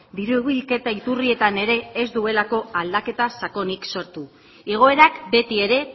diru bilketa iturrietan ere ez duelako aldaketa sakonik sortu igoerak betiere